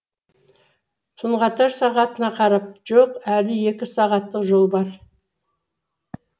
тұнғатар сағатына қарап жоқ әлі екі сағаттық жол бар